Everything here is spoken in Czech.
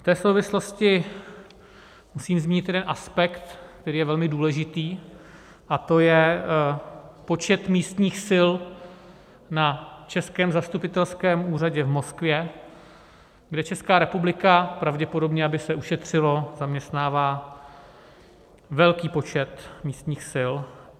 V té souvislosti musím zmínit jeden aspekt, který je velmi důležitý, a to je počet místních sil na českém zastupitelském úřadě v Moskvě, kde Česká republika, pravděpodobně aby se ušetřilo, zaměstnává velký počet místních sil.